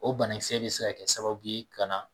O banakisɛ bi se ka kɛ sababu ka na